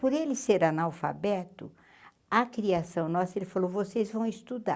Por ele ser analfabeto, a criação nossa, ele falou, vocês vão estudar.